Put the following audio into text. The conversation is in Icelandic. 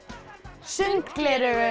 sundgleraugu